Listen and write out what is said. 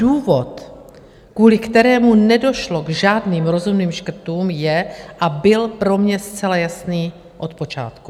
Důvod, kvůli kterému nedošlo k žádným rozumným škrtům je a byl pro mě zcela jasný od počátku.